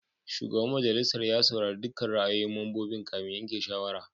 Shugaban majalisar ya saurari dukkan ra'ayoyin mambobin kafin yanke shawara.